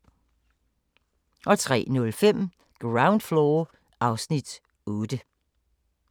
03:05: Ground Floor (Afs. 8)